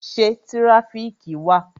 Ṣé tirafiki wà?